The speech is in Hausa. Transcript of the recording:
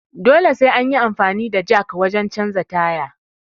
Dole sai anyi amfani da jak wajen canja tyre